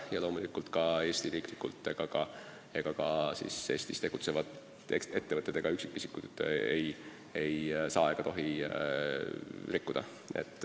Ja loomulikult ei tohi ka Eestis tegutsevad ettevõtted ega üksikisikud neid reegleid rikkuda.